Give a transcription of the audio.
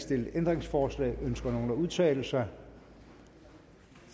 stillet ændringsforslag ønsker nogen at udtale sig